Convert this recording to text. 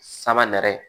Sama nɛrɛ